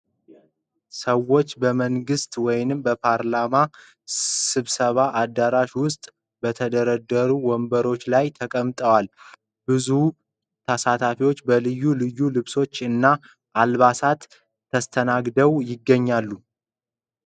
ዎች በመንግሥት ወይም በፓርላማ ስብሰባ አዳራሽ ውስጥ በተደረደሩ ወንበሮች ላይ ተቀምጠዋል። ብዙ ተሳታፊዎች በልዩ ልዩ ልብሶች እና አልባሳት ተስተናግደው ይገኛሉ።